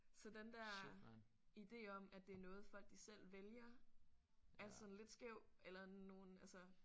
Så den der ide om at det er noget folk de selv vælger er sådan lidt skæv eller nogen altså